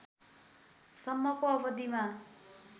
सम्मको अवधिमा